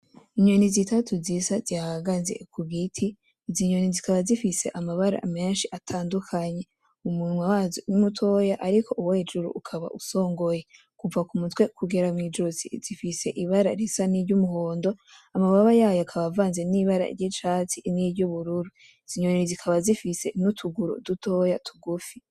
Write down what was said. Inyoni zitatu zisa zihahagaze kugiti , izi nyoni zikaba zifise amabara menshi atandukanye , umunwa wazo ni mutoya ariko uwo hejuru ukaba usongoye, kuva k'umutwe kugera mw'ijosi zifise ibara risa niry'umuhondo , amababa yayo akaba avanze n'ibara ry'icatsi n'iryubururu. izonyoni zikaba zifise n'utuguru dutoya tugufi.